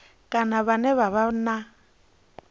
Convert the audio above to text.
kana vhane vha vha na